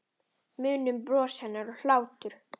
Munum bros hennar og hlátur.